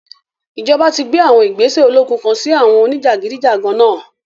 Ijọba ti gbe àwọn igbese ologun kan si àwọn onijagidijagan náa